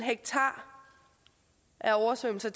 ha oversvømmelser